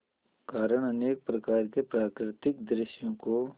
कारण अनेक प्रकार के प्राकृतिक दृश्यों को